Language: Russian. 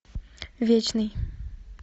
вечный